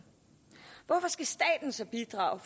hvorfor skal staten så bidrage